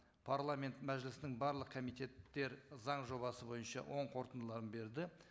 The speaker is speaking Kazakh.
парламент мәжілісінің барлық комитеттері заң жобасы бойынша оң қорытындыларын берді